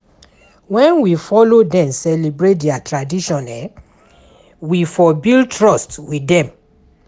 When we follow dem celebrate their tradition, we for build trust with them